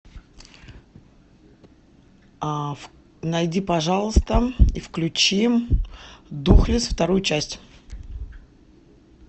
найди пожалуйста и включи духлесс вторую часть